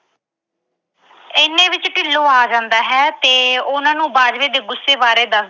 ਇੰਨੇ ਨੂੰ ਢਿੱਲੋਂ ਆ ਜਾਂਦਾ ਹੈ ਤੇ ਉਹਨਾਂ ਨੂੰ ਬਾਜਵੇ ਦੇ ਗੁੱਸੇ ਬਾਰੇ ਦੱਸਦਾ ਹੈ।